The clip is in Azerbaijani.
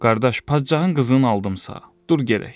Qardaş, padşahın qızını aldımsa, dur gedək.